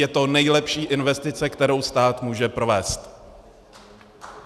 Je to nejlepší investice, kterou stát může provést.